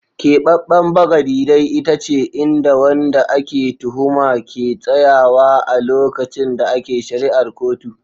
Kebeben bagadi dai ita ce inda wanda ake tuhuma ke tsayawa a lokacin da ake shari'ar kotu.